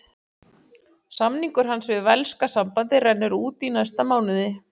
Samningur hans við velska sambandið rennur út í næsta mánuði.